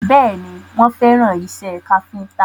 Bẹ́ẹ̀ni, wọ́n fẹ́ràn ìṣe káfíntà